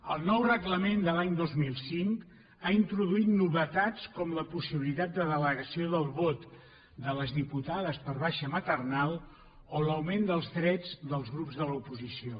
el nou reglament de l’any dos mil cinc ha introduït novetats com la possibilitat de delegació del vot de les diputades per baixa maternal o l’augment dels drets dels grups de l’oposició